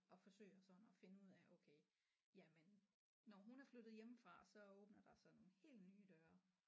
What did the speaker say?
Og forsøger sådan at finde ud af okay jamen når hun er flyttet hjemmefra så åbner der sig nogle helt nye døre